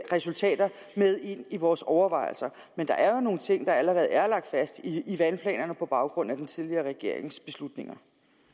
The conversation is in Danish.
resultater med ind i vores overvejelser men der er jo nogle ting der allerede er lagt fast i i vandplanerne på baggrund af den tidligere regerings beslutninger